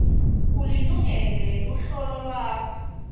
ulilungele luhlolo lwakho